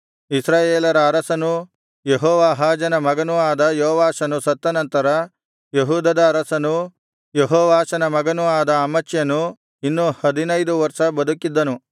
ಇಸ್ರಾಯೇಲರ ಅರಸನೂ ಯೆಹೋವಾಹಾಜನ ಮಗನೂ ಆದ ಯೋವಾಷನು ಸತ್ತನಂತರ ಯೆಹೂದದ ಅರಸನೂ ಯೆಹೋವಾಷನ ಮಗನೂ ಆದ ಅಮಚ್ಯನು ಇನ್ನೂ ಹದಿನೈದು ವರ್ಷ ಬದುಕಿದ್ದನು